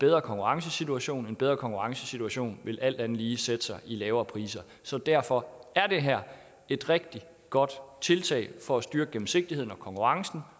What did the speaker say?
bedre konkurrencesituation og en bedre konkurrencesituation vil alt andet lige sætte sig i lavere priser så derfor er det her er et rigtig godt tiltag for at styrke gennemsigtigheden og konkurrencen